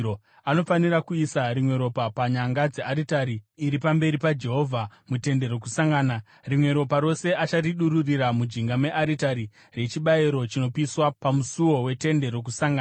Anofanira kuisa rimwe ropa panyanga dzearitari iri pamberi paJehovha muTende Rokusangana. Rimwe ropa rose acharidururira mujinga mearitari yechibayiro chinopiswa pamusuo weTende Rokusangana.